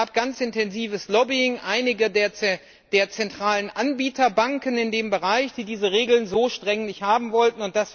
Es gab ganz intensives Lobbying durch einige der zentralen Anbieterbanken in diesem Bereich, die diese Regeln so streng nicht haben wollten.